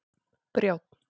Brjánn